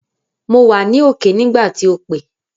Mo wà ní òkè nígbà tí o pé